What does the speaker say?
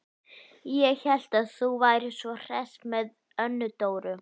Ég hélt að þú værir svo hress með Önnu Dóru.